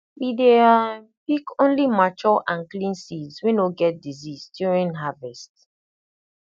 we dey um pick only mature and clean seeds wey no get disease during harvest